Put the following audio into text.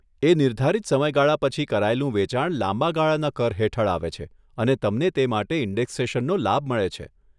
એ નિર્ધારિત સમયગાળા પછી કરાયેલું વેચાણ લાંબા ગાળાના કર હેઠળ આવે છે અને તમને તે માટે ઇન્ડેક્સેશન લાભ મળે છે.